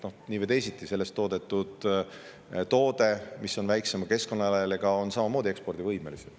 Nii või teisiti sellest toodetud toode, mis on väiksema keskkonnajalajäljega, on samamoodi ekspordivõimelisem.